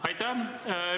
Aitäh!